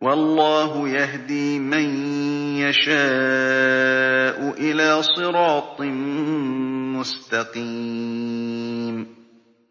وَاللَّهُ يَهْدِي مَن يَشَاءُ إِلَىٰ صِرَاطٍ مُّسْتَقِيمٍ